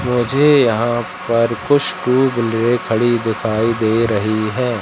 मुझे यहां पर कुछ खड़ी दिखाई दे रही है।